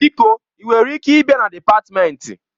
Biko ị nwere ike ịbịa na dịpatmenti?